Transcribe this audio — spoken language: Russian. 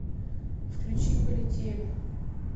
включи полетели